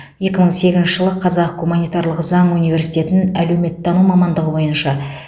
екі мың сегізінші жылы қазақ гуманитарлық заң университетін әлеуметтану мамандығы бойынша